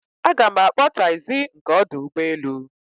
Aga m akpọ taịzi nke ọdụ ụgbọelu